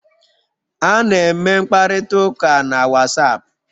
A na-eme mkparịta ụka na Wasapu